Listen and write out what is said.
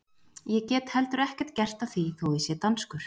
Ég get heldur ekkert gert að því þó ég sé danskur!